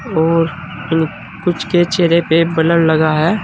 और कुछ के चेहरे पे ब्लर लगा है।